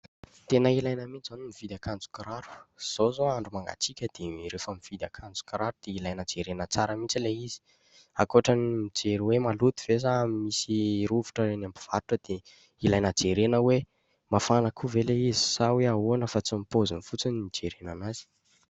Tena ilaina mihitsy izao no mividy akanjo sy kiraro, izao izao andro mangatsiaka, dia rehefa mividy akanjo sy kiraro, dia ilaina jerena tsara mihitsy ilay izy; ankoatra ny mijery hoe : maloto ve sa misy rovitra eny am-mpivarotra, dia ilaina jerena hoe : mafana koa ve ilay izy sa hoe ahoana fa tsy ny paoziny fotsiny no hijerena an'azy.